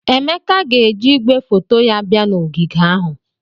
Emeke ga-eji igwefoto ya bia na ogige ahụ.